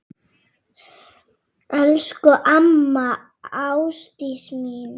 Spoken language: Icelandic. Elsku amma Ásdís mín.